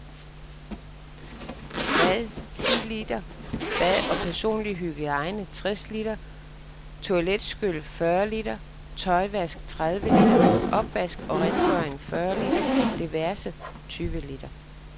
Mad ti liter, bad og personlig hygiejne tres liter, toiletskyl fyrre liter, tøjvask tredive liter, opvask og rengøring fyrre liter, diverse tyve liter.